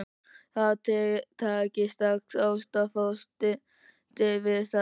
Þið takið strax ástfóstri við það.